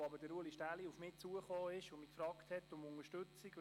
Ulrich Stähli ist auf mich zugekommen und hat mich nach Unterstützung gefragt.